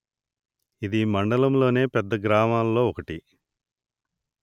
ఇది మండలములోని పెద్ద గ్రామాలలో ఒకటి